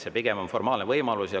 See pigem on formaalne võimalus.